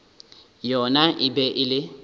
yona e be e le